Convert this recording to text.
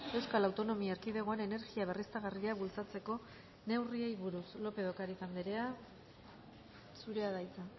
euskal autonomia erkidegoan energia berriztagarriak bultzatzeko neurriei buruz lópez de ocariz andrea zurea da hitza